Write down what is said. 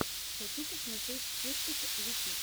хочу посмотреть киртоп ютюб